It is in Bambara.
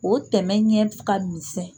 O tɛmɛn ɲɛ ka misɛn